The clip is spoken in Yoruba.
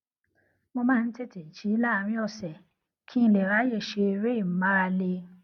mo máa ń tètè jí láàárín òsè kí n lè ráyè ṣe eré ìmárale